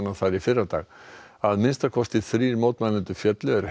að minnsta kosti þrír mótmælendur féllu er hermenn hófu skothríð